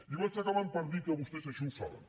i vaig acabant per dir que vostès això ho saben